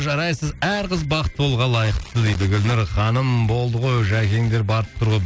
жарайсыз әр қыз бақытты болуға лайықты дейді гүлнұр ханым болды ғой жәкеңдер барып тұр ғой